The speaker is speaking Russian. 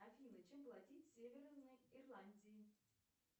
афина чем платить в северной ирландии